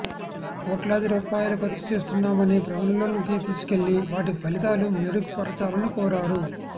కోట్లాది రూపాయాలు ఖర్చుచేస్తున్నామని ప్రజల్లోనికి తీసుకెళ్లి వాటి ఫలితాలు మెరుగు పరచాలని కోరారు